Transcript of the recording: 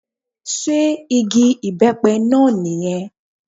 Sé igi ìbẹ́pẹ náà ní yẹn